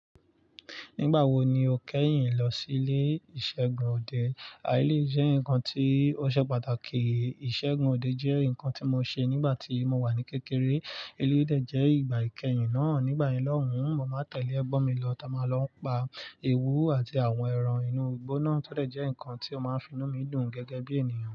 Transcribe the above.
Nígbà wo ni o kẹ́yìn lọ sí ilé ìṣègùn òde? Eléyìí jẹ́ ǹkan tí ó ṣe pàtàkì. Ìṣègùn òde jẹ́ nǹkan tí mo ṣe nígbà tí mo wà ní kékeré. Eléyìí dẹ̀ jẹ́ ìgbà ìkẹyìn náà. Nígbà yẹn lohùn, mo máa ń tẹ̀lé ẹgbọ́n mi lọ, táa máa lọ ń pa ewu àti àwọn ẹran inú igbó náà tó dẹ̀ jẹ́ nǹkan tí ó máa ń finú mi dùn gẹ́gẹ́ bí ènìyàn.